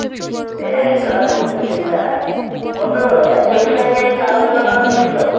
এইতো আলহামদুলিল্লাহ বন্ধু একটা বিষয় নিয়ে একটু আলোচনা করার সিলো।